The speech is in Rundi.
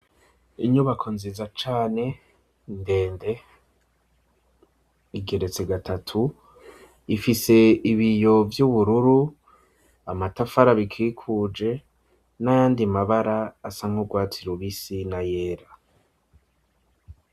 Inyubako nziza cane, ndende, igeretse gatatu; ifise ibiyo vy’ubururu, amatafari abikikuje, n’ayandi mabara asa nk’urwatsi rubisi n’ayera.